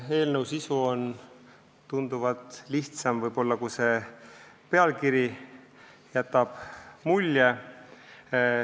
Eelnõu sisu on võib-olla tunduvalt lihtsam, kui pealkirjast võib mulje jääda.